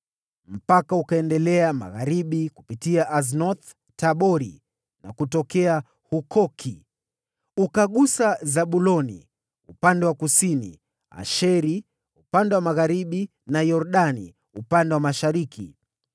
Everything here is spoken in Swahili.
Mpaka ukaendelea magharibi kupitia Aznoth-Tabori na kutokea Hukoki. Ukagusa Zabuloni upande wa kusini, Asheri upande wa magharibi, na Yordani upande wa mashariki.